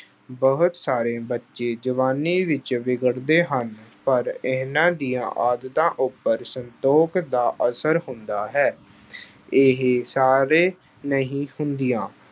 ਬਹੁਤ ਸਾਰੇ ਬੱਚੇ ਜਵਾਨੀ ਵਿੱਚ ਵਿਗੜਦੇ ਹਨ ਪਰ ਇਹਨਾਂ ਦੀਆਂ ਆਦਤਾਂ ਉੱਪਰ ਸੰਤੋੋਖ ਦਾ ਅਸਰ ਹੁੰਦਾ ਹੈ। ਇਹ ਸਾਰੇ ਨਹੀਂ ਹੁੰਦੀਆਂ